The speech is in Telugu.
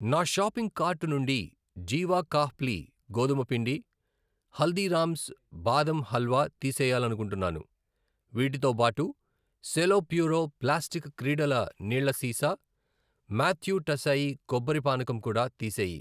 నా షాపింగ్ కార్టు నుండి జీవా ఖాప్లి గోధుమ పిండి, హల్దీరామ్స్ బాదం హల్వా తీసేయాలనుకుంటున్నాను. వీటితోబాటు సెలో ప్యూరో ప్లాస్టిక్ క్రీడల నీళ్ళ సీసా, మాత్యు టసైయి కొబ్బరి పానకం కూడా తీసేయి .